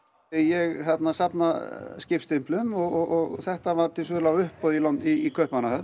ég safna skipsstimplum og þetta var til sölu á uppboði í Kaupmannahöfn